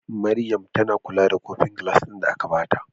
Maryam tAna kula da kofin gilas din da aka bata